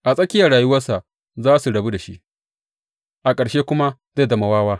A tsakiyar rayuwarsa za su rabu da shi, a ƙarshe kuma zai zama wawa.